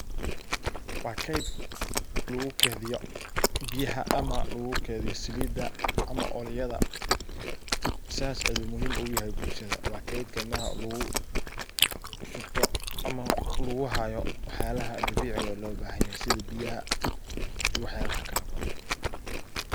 Waa qeyb lagu keydiyo biyaha ama salida ama oilyada .Sas ayu muhim ugu yahay bulshada waa keydka lugu shubto ama lagu hayo wax yalaha dabiciga ah ee loo bahan yahay sidha biyaha iyo wax yalaha kale oo faro badan.